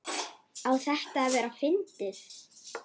Á þetta að vera fyndið?